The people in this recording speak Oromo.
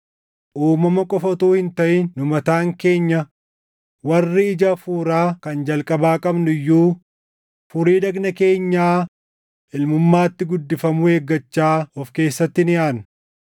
Uumama qofa utuu hin taʼin nu mataan keenya warri ija Hafuuraa kan jalqabaa qabnu iyyuu furii dhagna keenyaa ilmummaatti guddifamuu eeggachaa of keessatti ni aadna.